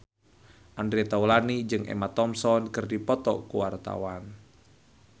Andre Taulany jeung Emma Thompson keur dipoto ku wartawan